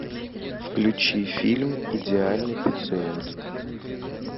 включи фильм идеальный пациент